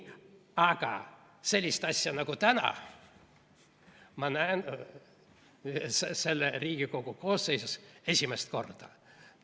Aga sellist asja nagu täna ma näen selles Riigikogu koosseisus esimest korda.